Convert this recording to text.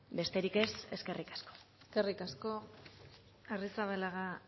besterik ez eskerrik asko eskerrik asko arrizabalaga